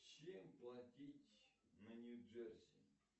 чем платить на нью джерси